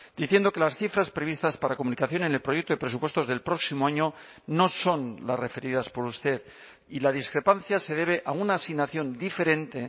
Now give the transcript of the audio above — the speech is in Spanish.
diciendo que las cifras previstas para comunicación en el proyecto de presupuestos del próximo año no son las referidas por usted y la discrepancia se debe a una asignación diferente